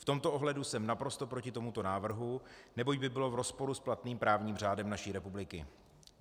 V tomto ohledu jsem naprosto proti tomuto návrhu, neboť by byl v rozporu s platným právním řádem naší republiky